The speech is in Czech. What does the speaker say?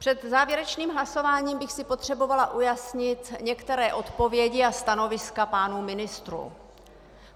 Před závěrečným hlasováním bych si potřebovala ujasnit některé odpovědi a stanoviska pánů ministrů.